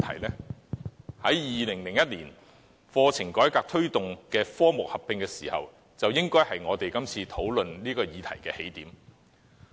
其實 ，2001 年課程改革推動科目合併，便是這次討論的起點。